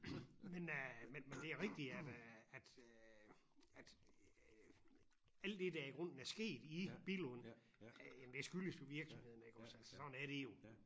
Men øh men det rigtigt at øh at øh at alt det der i grunden er sket i Billund det skyldes jo virksomheden iggås altså sådan er det jo